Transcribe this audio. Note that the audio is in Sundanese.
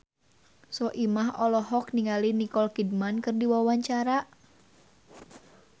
Soimah olohok ningali Nicole Kidman keur diwawancara